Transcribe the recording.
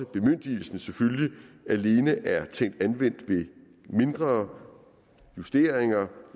bemyndigelsen alene anvendt ved mindre justeringer